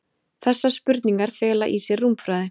Þessar spurningar fela í sér rúmfræði.